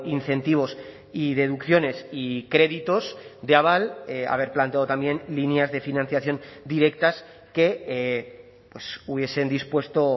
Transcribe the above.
incentivos y deducciones y créditos de aval haber planteado también líneas de financiación directas que hubiesen dispuesto